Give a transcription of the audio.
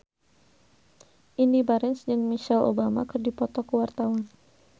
Indy Barens jeung Michelle Obama keur dipoto ku wartawan